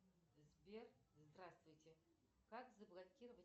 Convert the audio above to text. сбер здравствуйте как заблокировать